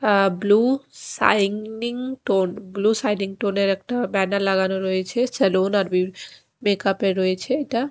আ blue shining tone blue shining টোনের একটা banner লাগানো রয়েছে সালোন আর বিউ মেকাপের রয়েছে এটা ।